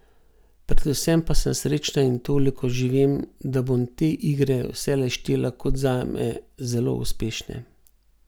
Predvsem pa sem srečna in toliko že vem, da bom te igre vselej štela kot zame zelo uspešne.